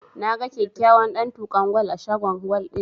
Na ga kyakkyawan ɗantukan gwal a shagon gwal ɗin, jiya.